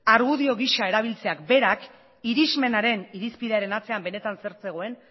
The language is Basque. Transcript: argudio gisa erabiltzeak berak irizmenaren irizpidearen atzean benetan zer zegoen